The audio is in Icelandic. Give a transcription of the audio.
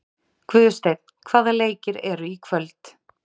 Guðsteinn, hvaða leikir eru í kvöld?